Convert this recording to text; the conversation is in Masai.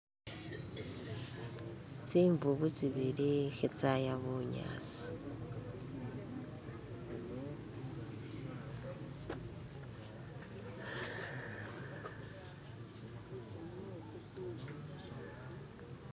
tsimbubu tsibili khetsaya bunyasi